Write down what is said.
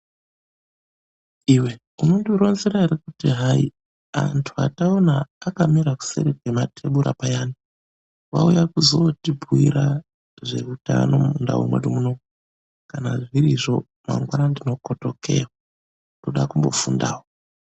Iwe unondironzera ere kuti hai, anhtu ataona akamira kuseri kwematebhura ayani, vauya kuzootibhuira zveutano mundau mwedu munomu. Kana zvirizvo, mangwani ndinokotokeyo, ndoda kumbofundawo.